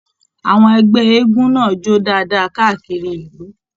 Àwọn ẹgbẹ eégún náà jó dáadáa káàkiri ìlú.